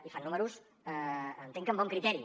i fan números entenc que amb bon criteri